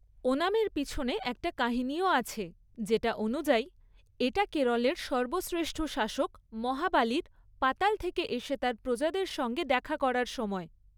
ওনামের পিছনে একটা কাহিনীও আছে, যেটা অনুযায়ী, এটা কেরলের সর্বশ্রেষ্ঠ শাসক মহাবালির পাতাল থেকে এসে তার প্রজাদের সঙ্গে দেখা করার সময়।